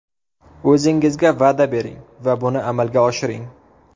O‘zingizga va’da bering va buni amalga oshiring.